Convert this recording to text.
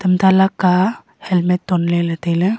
anta laka helmet tonle le taile.